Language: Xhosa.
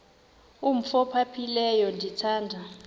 umf ophaphileyo ndithanda